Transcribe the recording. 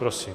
Prosím.